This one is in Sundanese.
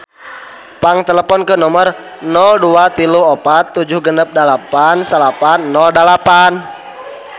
Pang teleponkeun nomer 0234 768908